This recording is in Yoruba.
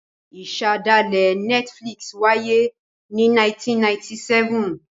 Ìṣẹ̀dálẹ̀ Netflix wáyé ní 1997.